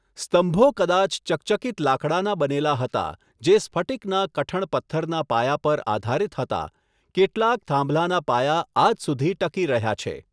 સ્તંભો કદાચ ચકચકિત લાકડાના બનેલા હતા, જે સ્ફટિકના કઠણ પથ્થરના પાયા પર આધારીત હતા, કેટલાક થાંભલાના પાયા આજ સુધી ટકી રહ્યા છે.